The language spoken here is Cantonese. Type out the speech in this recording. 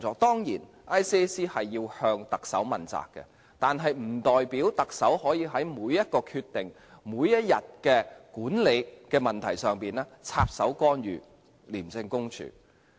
當然，廉政公署要向特首問責，但不代表特首可以在每個決定、每天管理的問題上插手干預廉政公署。